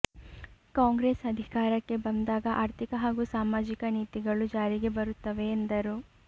ಕಾಂಗ್ರೆಸ್ ಅಧಿಕಾರಕ್ಕೆ ಬಂದರೆ ಆರ್ಥಿಕ ಹಾಗೂ ಸಾಮಾಜಿಕ ನೀತಿಗಳು ಜಾರಿಗೆ ಬರುತ್ತವೆ ಎಂದರು